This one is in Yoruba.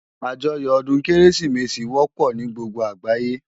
Ájòyò òdún Kérésimési wòpò ni gbógbó àgbáyé